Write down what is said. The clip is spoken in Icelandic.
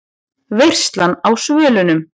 VEISLAN Á SVÖLUNUM